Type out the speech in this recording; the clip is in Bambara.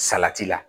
Salati la